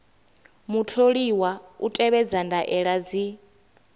mutholiwa u tevhedza ndaela dzi